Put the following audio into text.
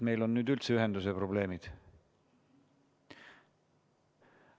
Meil on nüüd üldse ühenduseprobleemid.